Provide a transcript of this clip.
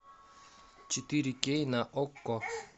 четыре кей на окко